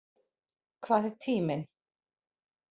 Hvað er tíminn?